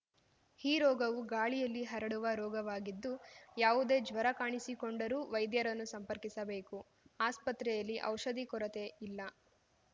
ಈ ರೋಗವು ಗಾಳಿಯಲ್ಲಿ ಹರಡುವ ರೋಗವಾಗಿದ್ದು ಯಾವುದೇ ಜ್ವರ ಕಾಣಿಸಿಕೊಂಡರೂ ವೈದ್ಯರನ್ನು ಸಂಪರ್ಕಿಸಬೇಕು ಆಸ್ಪತ್ರೆಯಲ್ಲಿ ಔಷಧಿ ಕೊರತೆ ಇಲ್ಲ